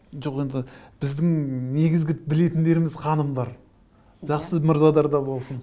жоқ енді біздің негізгі білетіндеріміз ханымдар жақсы да болсын